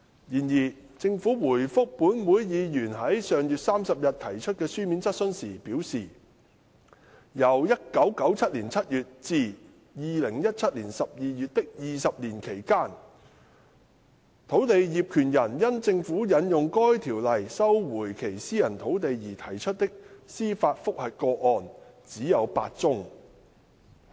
然而，政府回覆本會議員於上月30日提出的書面質詢時表示，由1997年7月至2017年12月的20年期間，土地業權人因政府引用該條例收回其私人土地而提出的司法覆核個案只有8宗。